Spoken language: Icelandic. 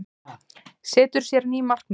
Setur sér ný markmið